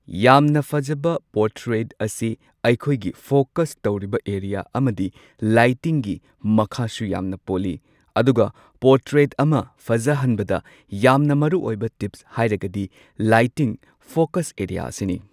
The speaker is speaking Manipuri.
ꯌꯥꯝꯅ ꯐꯖꯕ ꯄꯣꯔꯇ꯭ꯔꯦꯠ ꯑꯁꯤ ꯑꯩꯈꯣꯏꯒꯤ ꯐꯣꯀꯁ ꯇꯧꯔꯤꯕ ꯑꯦꯔꯤꯌꯥ ꯑꯃꯗꯤ ꯂꯥꯏꯇꯤꯡꯒꯤ ꯃꯈꯥꯁꯨ ꯌꯥꯝꯅ ꯄꯣꯜꯂꯤ ꯑꯗꯨꯒ ꯄꯣꯔꯇ꯭ꯔꯦꯠ ꯑꯃ ꯐꯖꯍꯟꯕꯗ ꯌꯥꯝꯅ ꯃꯔꯨꯑꯣꯏꯕ ꯇꯤꯞꯁ ꯍꯥꯏꯔꯒꯗꯤ ꯂꯥꯏꯇꯤꯡ ꯐꯣꯀꯁ ꯑꯦꯔꯤꯌꯥ ꯑꯁꯤꯅꯤ꯫